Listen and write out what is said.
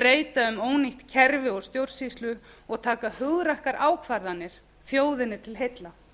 breyta um ónýtt kerfi og stjórnsýslu og taka hugrakkar ákvarðanir þjóðinni til heilla